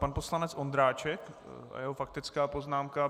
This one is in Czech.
Pan poslanec Ondráček a jeho faktická poznámka.